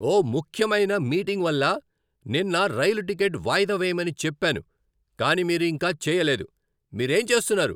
ఓ ముఖ్యమైన మీటింగ్ వల్ల నిన్న రైలు టికెట్ వాయిదా వేయమని చెప్పాను కానీ మీరు ఇంకా చేయలేదు, మీరేం చేస్తున్నారు?